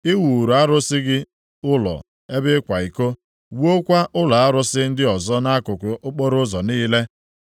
i wuuru arụsị gị ụlọ ebe ịkwa iko, wuokwa ụlọ arụsị ndị ọzọ nʼakụkụ okporoụzọ niile.